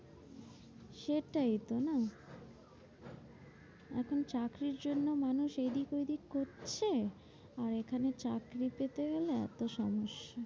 সেটাইতো না? এখন চাকরির জন্য মানুষ এইদিক ওইদিক করছে। আর এখানে চাকরি পেতে গেলে এত সমস্যা।